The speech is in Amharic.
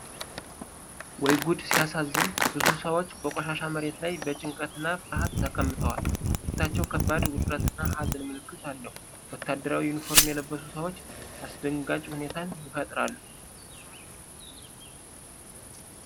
ወይ ጉድ ሲያሳዝን! ብዙ ሰዎች በቆሻሻ መሬት ላይ በጭንቀትና ፍርሃት ተቀምጠዋል። ፊታቸው የከባድ ውጥረት እና ሀዘን ምልክት አለው። ወታደራዊ ዩኒፎርም የለበሱ ሰዎች አስደንጋጭ ሁኔታን ይፈጥራሉ።